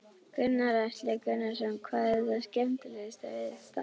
Gunnar Atli Gunnarsson: Hvað er skemmtilegast við þetta?